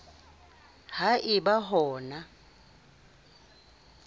ha e ba ho na